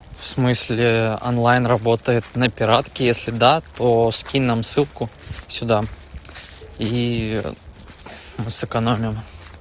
в смысле онлайн работает на пиратке если да то скинь нам ссылку сюда и мы сэкономим